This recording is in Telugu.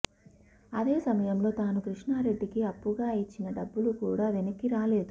అదే సమయంలో తాను కృష్ణారెడ్డికి అప్పుగా ఇచ్చిన డబ్బులు కూడా వెనక్కి రాలేదు